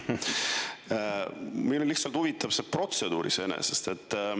Meil on lihtsalt huvitav protseduur iseenesest.